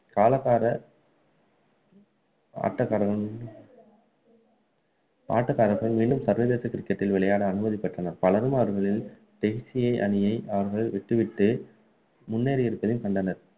கலகக்கார ஆட்டக்காரர் ஆட்டக்காரர்கள் மீண்டும் சர்வதேச cricket டில் விளையாட அனுமதி பெற்றனர் பலரும் அவர்களில் பேசிய அணியை விட்டு விட்டு முன்னேறி இருப்பதை கண்டனர்